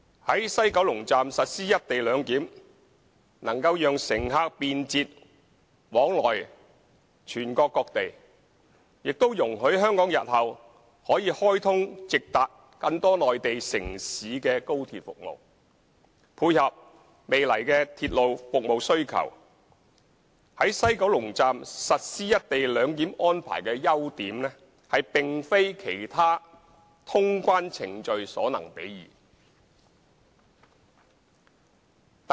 在西九龍站實施"一地兩檢"能夠讓乘客便捷往來全國各地，也容許香港日後可開通直達更多內地城市的高鐵服務，配合未來的鐵路服務需求，在西九龍站實施"一地兩檢"安排的優點，並非其他通關程序所能比擬的。